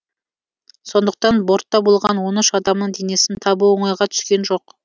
сондықтан бортта болған он үш адамның денесін табу оңайға түскен жоқ